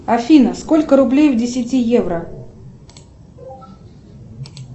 афина сколько рублей в десяти евро